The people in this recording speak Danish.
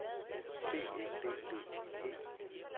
D E B B I E